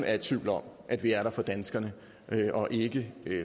er i tvivl om at vi er der for danskerne og ikke